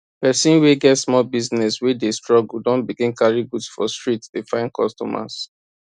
persin wey get small business wey dey dey struggle don begin carry goods for street dey find customers